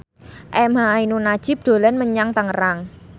emha ainun nadjib dolan menyang Tangerang